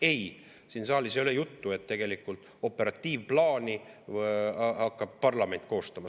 Ei, siin saalis ei ole juttu, et tegelikult hakkab parlament operatiivplaani koostama.